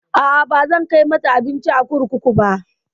A'a, bazan kai mata abinci a kurkuku ba.